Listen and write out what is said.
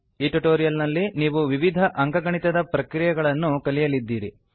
ಈ ಟ್ಯುಟೋರಿಯಲ್ ನಲ್ಲಿ ನೀವು ವಿವಿಧ ಅಂಕಗಣಿತದ ಪ್ರಕ್ರಿಯೆಗಳನ್ನು ಕಲಿಯಲಿದ್ದೀರಿ